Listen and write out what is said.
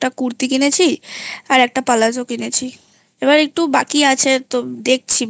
একটা কুর্তি কিনেছি আর একটা পালাজো কিনেছি এবার একটু বাকি আছে তো দেখছি